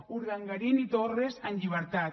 urdangarín i torres en llibertat